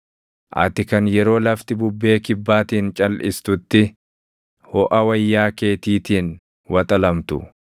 Ati kan yeroo lafti bubbee kibbaatiin calʼistutti hoʼa wayyaa keetiitiin waxalamtu,